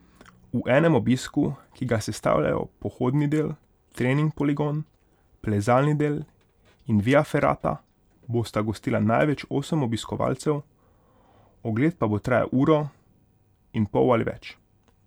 V enem obisku, ki ga sestavljajo pohodni del, trening poligon, plezalni del in via ferrata, bosta gostila največ osem obiskovalcev, ogled pa bo trajal uro in pol ali več.